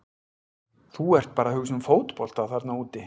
Þú ert bara að hugsa um fótbolta þarna úti.